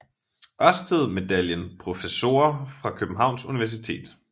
Ørsted Medaljen Professorer fra Københavns Universitet